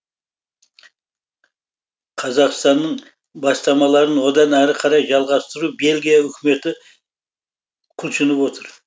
қазақстанның бастамаларын одан әрі қарай жалғастыру бельгия үкіметі құлшынып отыр